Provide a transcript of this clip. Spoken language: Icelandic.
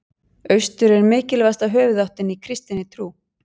Austur er mikilvægasta höfuðáttin í kristinni trú.